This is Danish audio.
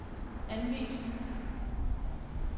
anvis